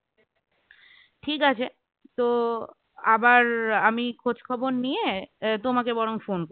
ঠিক আছে তো আবার আমি খোঁজখবর নিয়ে তোমাকে বরং phone